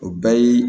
O bɛɛ ye